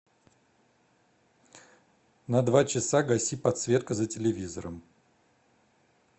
на два часа гаси подсветка за телевизором